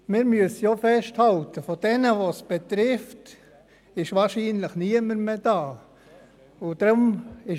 Wir müssen auch festhalten, dass von jenen, die es betrifft, wahrscheinlich niemand mehr hier ist.